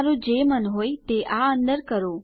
તમારું જે મન હોય તે આ અંદર કરો